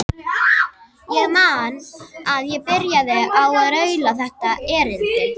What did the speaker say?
Ég man að ég byrjaði á að raula þetta erindi: